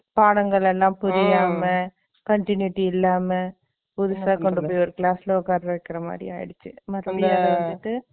பாடங்கள் எல்லாம் புரியாம, continuity இல்லாம, புதுசா கொண்டு போய், ஒரு class ல உட்கார வைக்கிற மாதிரி ஆயிடுச்சு